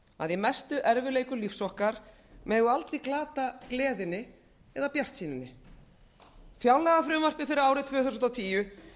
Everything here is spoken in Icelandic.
í mestu erfiðleikum lífs okkar megum við aldrei glata gleðinni eða bjartsýninni fjárlagafrumvarpið fyrir árið tvö þúsund og tíu